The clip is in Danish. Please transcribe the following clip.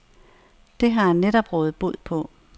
Det har han netop rådet bod på.